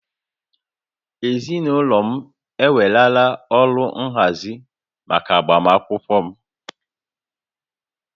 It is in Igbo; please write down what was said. Ezinaụlọ m ewerela ọrụ nhazi maka agbamakwụkwọ m